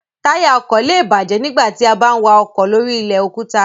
Táyà ọkọ̀ lé è bàjẹ́ nígbà tí a bá ń wa ọkọ̀ lóri ilẹ̀ òkúta